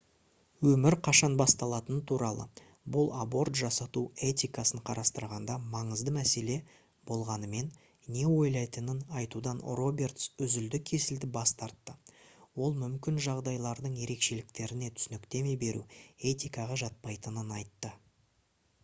өмір қашан басталатыны туралы бұл аборт жасату этикасын қарастырғанда маңызды мәселе болғанымен не ойлайтынын айтудан робертс үзілді-кесілді бас тартты ол мүмкін жағдайлардың ерекшеліктеріне түсініктеме беру этикаға жатпайтынын айтты